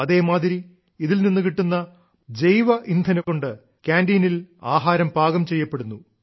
അതേമാതിരി ഇതിൽ നിന്നു കിട്ടുന്ന ജൈവ ഇന്ധനം കൊണ്ട് കാന്റീനിൽ ആഹാരം പാകം ചെയ്യപ്പെടുന്നു